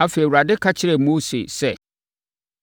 Afei, Awurade ka kyerɛɛ Mose sɛ,